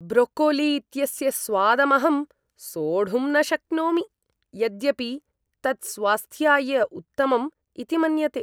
Broccoli इत्यस्य स्वादमहं सोढुं न शक्नोमि, यद्यपि तत् स्वास्थ्याय उत्तमम् इति मन्यते।